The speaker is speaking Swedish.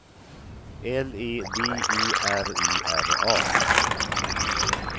L E V E R E R A